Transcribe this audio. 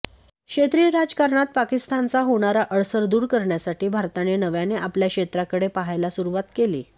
क्षेत्रीय राजकारणात पाकिस्तानचा होणारा अडसर दूर करण्यासाठी भारताने नव्याने आपल्या क्षेत्राकडे पाहायला सुरुवात केली